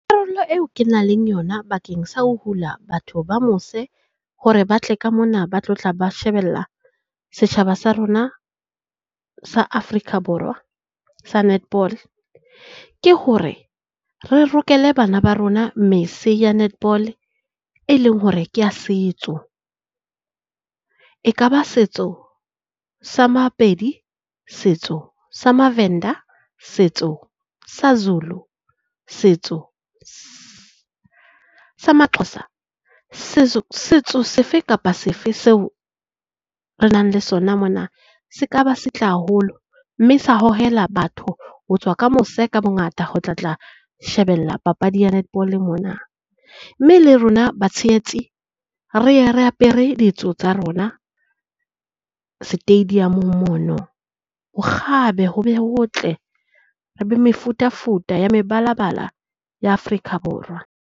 Karolo eo ke nang le yona bakeng sa ho hula batho ba mose hore ba tle ka mona ba tlo tla ba shebella setjhaba sa rona sa Afrika Borwa sa netball. Ke hore re rokele bana ba rona mese ya netball e leng hore ke ya setso. Ekaba setso sa maPedi, setso sa MaVenda, setso sa Zulu, setso sa maXhoza setso setso sefe kapa sefe seo re nang le sona mona. Se ka ba se tle haholo mme sa hohela batho ho tswa ka mose ka bongata, ho tla tla shebella papadi ya netball-e mona. Mme le rona batshehetsi re ye re apere ditso tsa rona stadium mono. Ho kgabe ho be ho tle re be mefutafuta ya mebalabala ya Afrika Borwa.